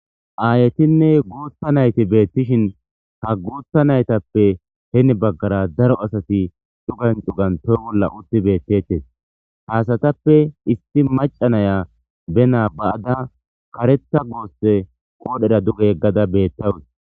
aayetinne guutha nayti beettishin ha guutha naytappe heni baggara daro asati cugan cugan toy bolla utti beettettes haasatappe isti maca naya benaa ba7ada karetha goosse qoodhera duge yeggada beettawus